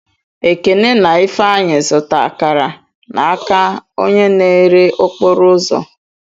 Ekene na Ifeanyi zụta akara n'aka onye na-ere okporo ụzọ.